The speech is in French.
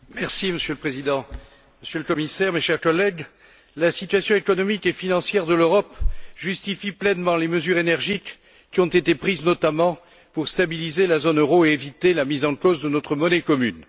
Monsieur le Président, Monsieur le Commissaire, mes chers collègues, la situation économique et financière de l'Europe justifie pleinement les mesures énergiques qui ont été prises notamment pour stabiliser la zone euro et éviter la mise en cause de notre monnaie commune.